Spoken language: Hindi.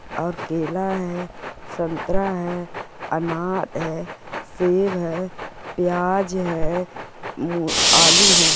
और केला है संतरा है अनार है सेब है प्याज है मुर आलू है।